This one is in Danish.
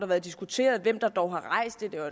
været diskuteret hvem der dog har rejst det det var